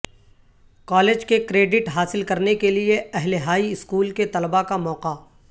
college کے credit حاصل کرنے کے لئے اہل ہائی اسکول کے طلباء کا موقع